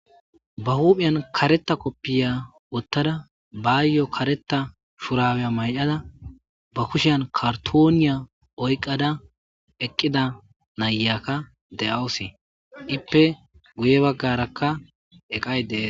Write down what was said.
Ba huphiyan kareta kopiya wotada bayo kareta dhurabiya mayada ba kushiyan kartoniya oykada eqida na'iyaka de'awus . Ippe guye bagaraka eqay de'es.